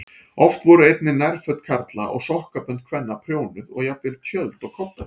Oft voru einnig nærföt karla og sokkabönd kvenna prjónuð og jafnvel tjöld og koddaver.